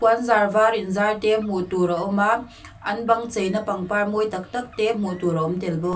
an zar var in zar te hmuh tur a awm a an bang cheina pangpar mawi tak tak te hmuh tur a awm tel bawk.